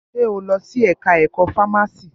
Ṣe o lọ sí ẹka ẹ̀kọ́ fámási?